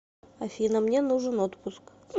афина мне нужен отпуск